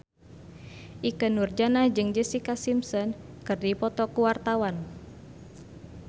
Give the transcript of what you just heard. Ikke Nurjanah jeung Jessica Simpson keur dipoto ku wartawan